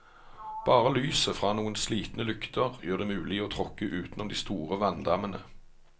Bare lyset fra noen slitne lykter gjør det mulig å tråkke utenom de store vanndammene.